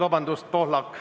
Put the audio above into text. Vabandust!